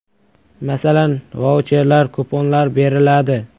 Masalan, vaucherlar, kuponlar beriladi.